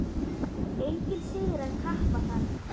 Enginn sigrar kappa þann.